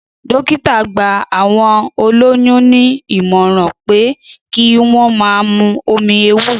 Dọ̀kítà gba àwọn òlòyún ni ìmọ̀ran pẹ ki won mà mù òmí èwúrò